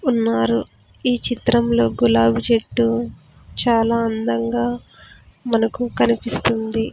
ఉన్నారు ఈ చిత్రంలో గులాబి చెట్టు చాలా అందంగా మనకు కనిపిస్తుంది.